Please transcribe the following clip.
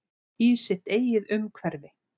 Í sitt eigið umhverfi.